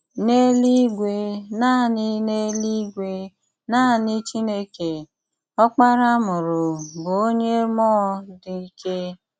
N’èlú-ìgwè, nanị N’èlú-ìgwè, nanị Chìnèké – Ọ́kpárá a mùrù bụ̀ onye mmụọ́ dị́ ìké.